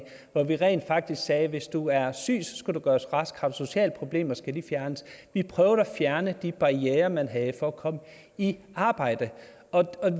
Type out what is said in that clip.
rent faktisk sagde at hvis du er syg skal du gøres rask har du sociale problemer skal de fjernes vi prøvede at fjerne de barrierer man havde for at komme i arbejde